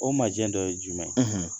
O majɛn dɔ ye jumɛn ?